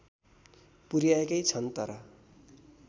पुर्‍याएकै छन् तर